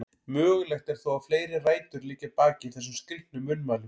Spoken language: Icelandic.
Mögulegt er þó að fleiri rætur liggi að baki þessum skrítnu munnmælum.